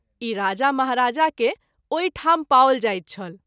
ई राजा महाराजा के ओहि ठाम पाओल जाइत छल।